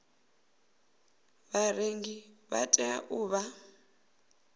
vharengi vha tea u vha